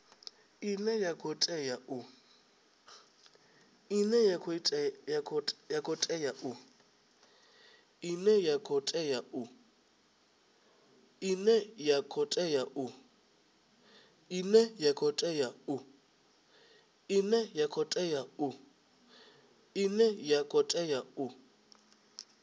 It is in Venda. ine ya khou tea u